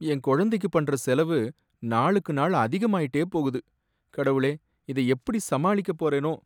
என் குழந்தைக்கு பண்ற செலவு நாளுக்கு நாள் அதிகமாயிட்டே போகுது, கடவுளே இத எப்படி சமாளிக்கப் போறேனோ!